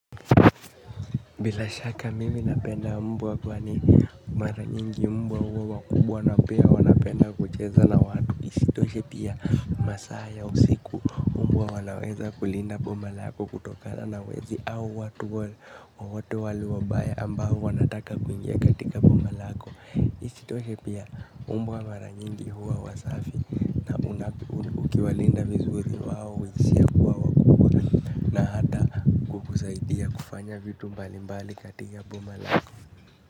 Bilashaki mimi napenda mbwa kwani mara nyingi mbwa huwa wakubwa na pia wanapenda kucheza na watu isitoshe pia masaa ya usiku mbwa wanaweza kulinda bomalako kutokana na wezi au watu wote wale wabaya ambao wanataka kuingia katika bomalako. Isitoshe pia mbwa mara nyingi huwa wasafi ukiwalinda vizuri wao huishia kuwa wakubwa na hata kukusaidia kufanya vitu mbali mbali katika bomalako.